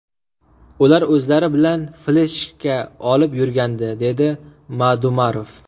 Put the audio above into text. Ular o‘zlari bilan fleshka olib yurgandi”, dedi Madumarov.